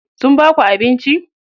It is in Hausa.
Sun baku abinci?